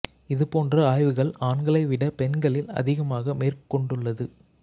இது போன்ற ஆய்வுகள் ஆண்களை விட பெண்களில் அதிகமாக மேற்கொண்டுள்ளது